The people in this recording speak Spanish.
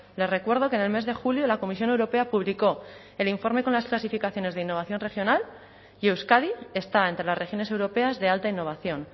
le recuerdo que en el mes de julio la comisión europea publicó el informe con las clasificaciones de innovación regional y euskadi está entre las regiones europeas de alta innovación